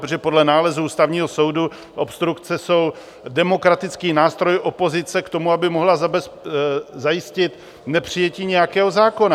Protože podle nálezu Ústavního soudu obstrukce jsou demokratický nástroj opozice k tomu, aby mohla zajistit nepřijetí nějakého zákona.